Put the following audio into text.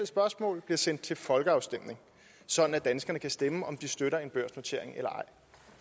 spørgsmål bliver sendt til folkeafstemning sådan at danskerne kan stemme om hvorvidt de støtter en børsnotering eller